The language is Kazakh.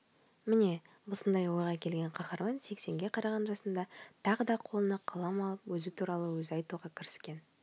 міне осындай ойға келген қаһарман сексенге қараған жасында тағы да қолына қалам алып өзі туралы өзі айтуға кіріскен